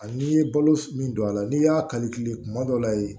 Ani i ye balo min don a la n'i y'a kali kile kuma dɔ la ye